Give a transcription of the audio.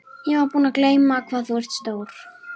Ég var búin að gleyma hvað þú ert stór.